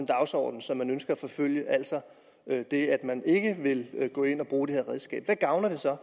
dagsorden som man ønsker at forfølge altså det at man ikke vil gå ind og bruge det her redskab hvad gavner det så